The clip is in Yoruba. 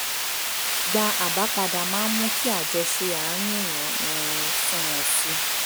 gba àbá padà máa ń mú kí àjọṣe àárín èèyàn um sunwọ̀n sí i